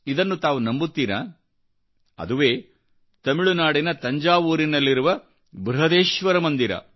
ಇದನ್ನು ತಾವು ನಂಬುತ್ತೀರಾಅದುವೇ ತಮಿಳುನಾಡಿನ ತಂಜಾವೂರಿನಲ್ಲಿರುವ ಬೃಹದೇಶ್ವರ ಮಂದಿರ